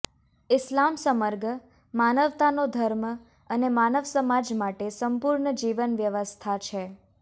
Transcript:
ઈસ્લામ સમર્ગ માનવતાનો ધર્મ અને માનવસમાજ માટે સંપૂર્ણ જીવન વ્યવસ્થા છે